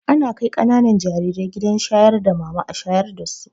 Ana kai ƙananan jarire gidan shayar da mama a shayar dasu